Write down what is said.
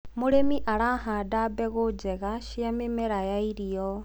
mũrĩmi arahanda mbegũ njega cia mĩmera ya irio